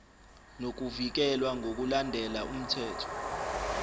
nokuvikelwa ngokulandela umthetho